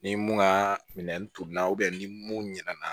Ni mun ka minɛ turula ni mun ɲɛna